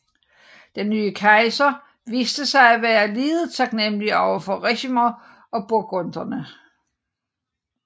Den nye kejser viste sig at være lidet taknemmelig over for Ricimer og burgunderne